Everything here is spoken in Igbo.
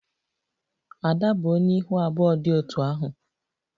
Ada bụ onye ihu abụọ dị otú ahụ